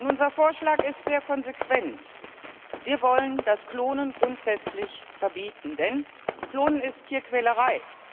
Unser Vorschlag ist sehr konsequent. Wir wollen das Klonen grundsätzlich verbieten, denn Klonen ist Tierquälerei.